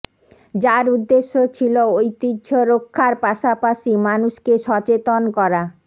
যার উদ্দেশ্যে ছিল ঐতিহ্য রক্ষার পাশাপাশি মানুষকে সচেতন করা